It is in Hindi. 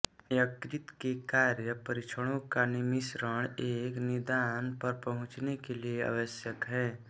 यकृत के कार्य परीक्षणों का मिश्रण एक निदान पर पहुंचने के लिए आवश्यक है